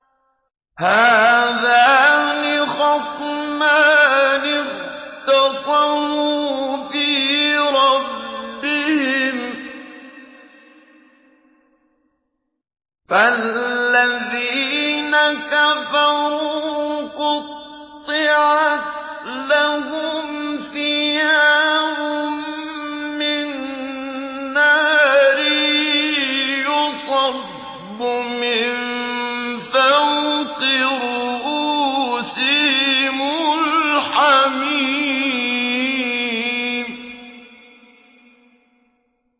۞ هَٰذَانِ خَصْمَانِ اخْتَصَمُوا فِي رَبِّهِمْ ۖ فَالَّذِينَ كَفَرُوا قُطِّعَتْ لَهُمْ ثِيَابٌ مِّن نَّارٍ يُصَبُّ مِن فَوْقِ رُءُوسِهِمُ الْحَمِيمُ